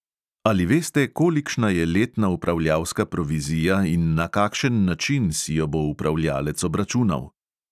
Ali veste, kolikšna je letna upravljalska provizija in na kakšen način si jo bo upravljalec obračunal?